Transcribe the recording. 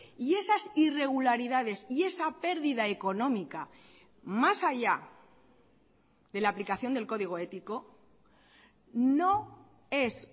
y esas irregularidades y esa pérdida económica más allá de la aplicación del código ético no es